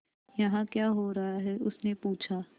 यहाँ क्या हो रहा है उसने पूछा